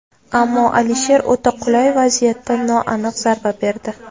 Ammo Alisher o‘ta qulay vaziyatda noaniq zarba berdi.